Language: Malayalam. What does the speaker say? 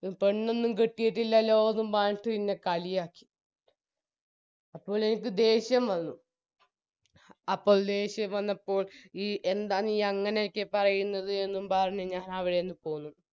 പെണ്ണൊന്നും കെട്ടിയിട്ടില്ലല്ലോ എന്നും പറഞ്ഞിട്ട് ഇന്നെ കളിയാക്കി അപ്പോൾ എനിക്ക് ദേഷ്യം വന്നു അപ്പോൾ ദേഷ്യം വന്നപ്പോൾ ഈ എന്താ നീ അങ്ങനെയൊക്കെ പറയുന്നത് എന്നും പറഞ്ഞ് ഞാനവിടെ നിന്ന് പോന്നു